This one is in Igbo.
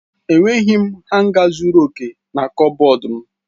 Enweghị m hanga zuru oke na kọbọd m.